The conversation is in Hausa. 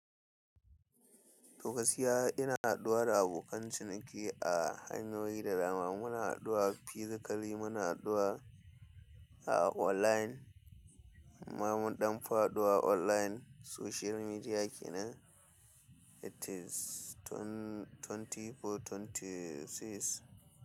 To gaskiya ina haɗuwa da abokan ciniki a hanyoyi da dama. Muna haduwa a physically muna haduwa a online amma mun ɗan fi haɗuwa online social media kenan. It is twenty four twenty six.